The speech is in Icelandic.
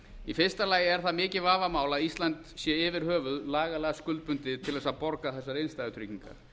í fyrsta lagi er það mikið vafamál að ísland sé yfir höfuð lagalega skuldbundið til þess að borga þessar innstæðutryggingar